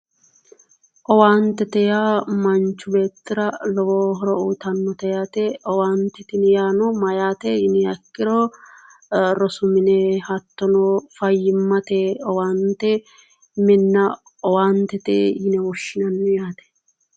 Owaantete yaa manchu beettira lowo horo uyitannote yaate owaante tini yaano mayyaate yiniha ikkiro rosu mine hattono fayyimmate owaante minna owaantete yine woshshinanni yaate